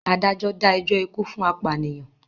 Adájọ́ dá ẹjọ́ ikú fún apànìyàn.